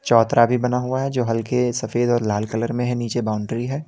चौतरा भी बना हुआ है जो हल्के सफेद और लाल कलर में है नीचे बाउंड्री है।